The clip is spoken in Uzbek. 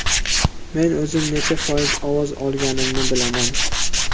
Men o‘zim necha foiz ovoz olganimni bilaman.